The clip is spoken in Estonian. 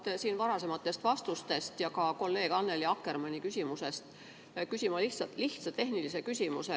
Tulenevalt varasematest vastustest ja ka kolleeg Annely Akkermanni küsimusest küsin ma lihtsa tehnilise küsimuse.